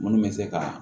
Munnu bɛ se ka